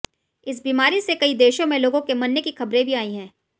इस बीमारी से कई देशों में लोगों के मरने की ख़बरें भी आई हैं